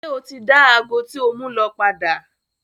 Ṣe o ti da agọ ti o mu lọ padà?